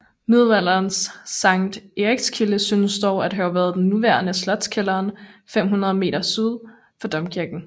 Middelalderens Sankt Erikskilde synes dog at have været den nuværende Slotskælderen 500 m syd for domkirken